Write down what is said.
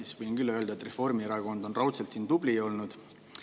Ma võin küll öelda, et Reformierakond on siin raudselt tubli olnud.